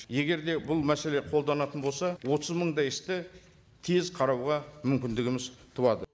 егер де бұл мәселе қолданатын болса отыз мыңдай істі тез қарауға мүмкіндігіміз туады